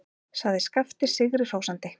sagði Skapti sigri hrósandi.